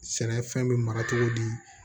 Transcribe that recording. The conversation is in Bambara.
Sɛnɛfɛn bɛ mara cogo di